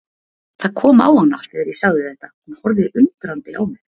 Það kom á hana þegar ég sagði þetta, hún horfði undrandi á mig.